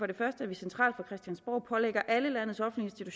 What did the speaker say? det første at vi centralt på christiansborg pålægger alle landets offentlige